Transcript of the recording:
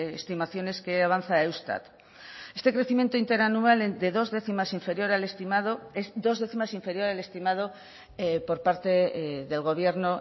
estimaciones que avanza eustat este crecimiento interanual de dos décimas inferior al estimado es dos décimas inferior al estimado por parte del gobierno